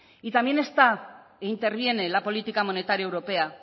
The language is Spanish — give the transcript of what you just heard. y también interviene la política monetaria europea